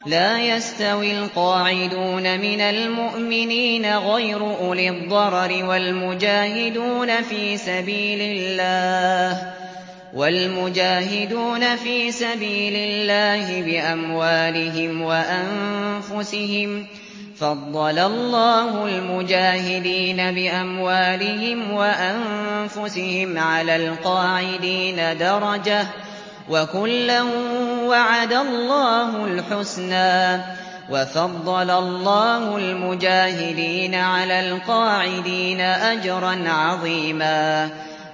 لَّا يَسْتَوِي الْقَاعِدُونَ مِنَ الْمُؤْمِنِينَ غَيْرُ أُولِي الضَّرَرِ وَالْمُجَاهِدُونَ فِي سَبِيلِ اللَّهِ بِأَمْوَالِهِمْ وَأَنفُسِهِمْ ۚ فَضَّلَ اللَّهُ الْمُجَاهِدِينَ بِأَمْوَالِهِمْ وَأَنفُسِهِمْ عَلَى الْقَاعِدِينَ دَرَجَةً ۚ وَكُلًّا وَعَدَ اللَّهُ الْحُسْنَىٰ ۚ وَفَضَّلَ اللَّهُ الْمُجَاهِدِينَ عَلَى الْقَاعِدِينَ أَجْرًا عَظِيمًا